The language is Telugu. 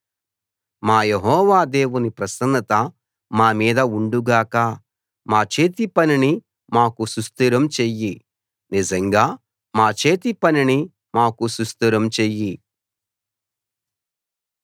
మా యెహోవా దేవుని ప్రసన్నత మా మీద ఉండు గాక మా చేతి పనిని మాకు సుస్థిరం చెయ్యి నిజంగా మా చేతి పనిని మాకు సుస్థిరం చెయ్యి